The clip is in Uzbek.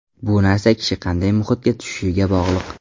Bu narsa kishi qanday muhitga tushishiga bog‘liq.